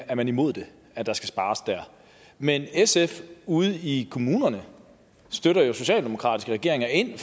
er man imod at der skal spares der men sf ude i kommunerne støtter jo socialdemokratiske regeringer ind